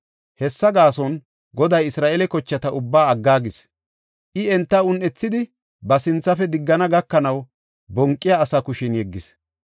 Hessa gaason, Goday Isra7eele kochata ubbaa aggaagis. I enta un7ethidi, ba sinthafe diggana gakanaw, bonqiya asaa kushen yeggis.